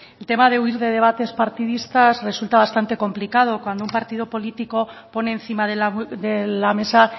el tema de huir de debates partidistas resulta bastante complicado cuando un partido político pone encima de la mesa